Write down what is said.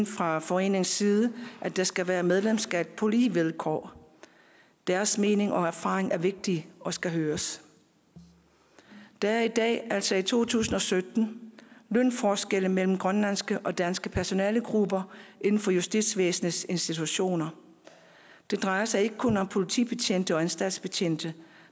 fra foreningens side at der skal være medlemskab på lige vilkår deres mening og erfaring er vigtig og skal høres der er i dag altså i to tusind og sytten lønforskelle mellem grønlandske og danske personalegrupper inden for justitsvæsenets institutioner det drejer sig ikke kun om politibetjente og anstaltsbetjente